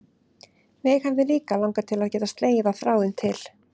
Mig hefði líka langað til að geta slegið á þráðinn til